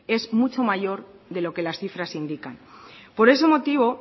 es mucho mayor de lo que las cifras indican por ese motivo